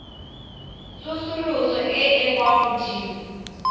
tsosoloso e e kwa godimo